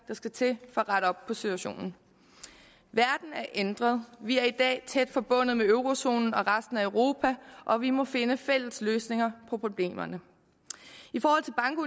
der skal til for at rette op på situationen verden er ændret vi er i dag tæt forbundet med eurozonen og resten af europa og vi må finde fælles løsninger på problemerne